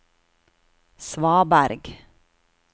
svaberg